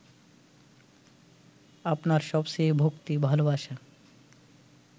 আপনার সবচেয়ে ভক্তি-ভালোবাসা